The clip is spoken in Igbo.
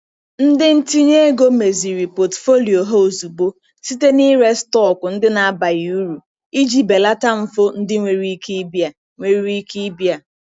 Ndị ntinye ego meziri pọtụfoliyo ha ozugbo site n'ịre stọkụ ndị na-abaghị uru iji belata mfu ndị nwere ike ibia. nwere ike ibia.